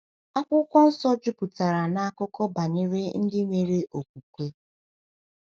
Akwụkwọ Nsọ juputara na akụkọ banyere ndị nwere okwukwe.